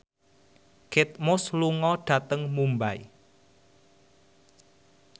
Kate Moss lunga dhateng Mumbai